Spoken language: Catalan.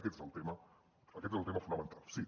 aquest és el tema aquest és el tema fonamental sí